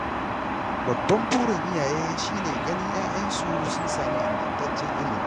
Babban burin iyaye shi ne ganin ‘ya’yansu sun samu ingantaccen ilimi.